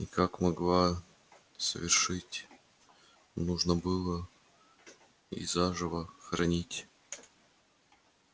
и как могла совершить нужно было и заживо хоронить